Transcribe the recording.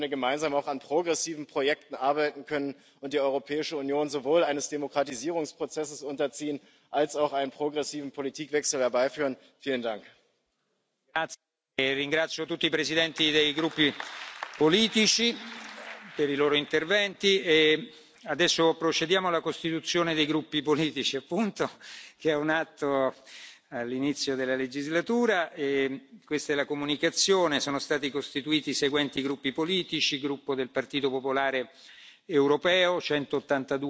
Sie haben ja in Ihrer Rede einige große politische Projekte angesprochen, von denen wir auch als Linke hier im Hause einige teilen können, zum Beispiel die Reform des Dublin Systems oder die Stärkung sozialer Rechte in der Europäischen Union, die Stärkung von Arbeitnehmerinnen und Arbeitnehmerrechten. Aber ich glaube, dafür brauchen wir eine gemeinsame demokratische Basis, und diese Basis das ist eine Bitte an Sie, aber zugleich auch eine Forderung besteht unserer Ansicht nach darin, dass wir auf transparenter Ebene miteinander arbeiten und die demokratischen Rechte auch kleinerer Fraktionen und einzelner Abgeordneter in diesem Haus gewahrt werden. Das ist unsere Bitte an Sie für die gemeinsame zukünftige Zusammenarbeit.